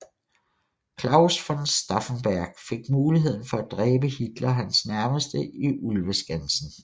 Claus von Stauffenberg fik muligheden for at dræbe Hitler og hans nærmeste i Ulveskansen